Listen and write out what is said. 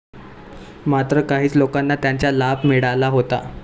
मात्र काहीच लोकांना त्याचा लाभ मिळाला होता.